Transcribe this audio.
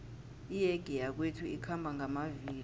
iyege yakwethu ikhamba ngamavilo